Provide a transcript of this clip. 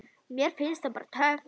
Mér finnst það bara töff.